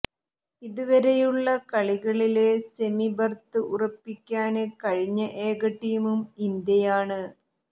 ഇതുവരെയുള്ള കളികളില് സെമിബര്ത്ത് ഉറപ്പിക്കാന് കഴിഞ്ഞ ഏക ടീമും ഇന്ത്യയാണ്